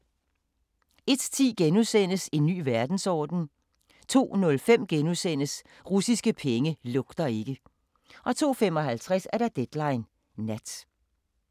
01:10: En ny verdensorden * 02:05: Russiske penge lugter ikke * 02:55: Deadline Nat